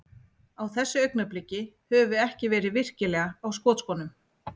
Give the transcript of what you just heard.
Á þessu augnabliki, höfum við ekki verið virkilega á skotskónum.